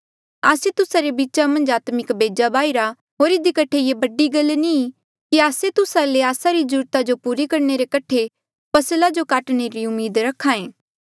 आस्से तुस्सा रे बीचा मन्झ आत्मिक बेजा बाय्हिरा होर इधी कठे ये बड़ी गल नी कि आस्से तुस्सा ले आस्सा री जरूरता जो पूरा करणे री फसला जो काटणे री उम्मीद रखायें